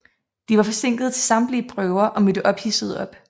De var forsinkede til samtlige prøver og mødte ophidsede op